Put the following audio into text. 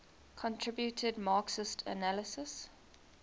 contributed marxist analyses